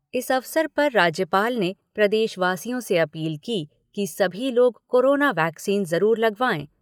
इस अवसर पर राज्यपाल ने प्रदेशवासियों से अपील की कि सभी लोग कोरोना वैक्सीन जरूर लगवाएं।